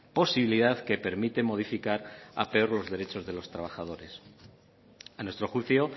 posibilidad que permite modificar a peor los derechos de los trabajadores a nuestro juicio